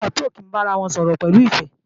Àwọn ọ̀tá ò kí ń bára wọn sọ̀rọ̀ pẹ̀lú ìfẹ́